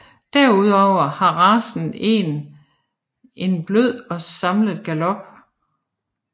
Derudover har racen en er blød og samlet galop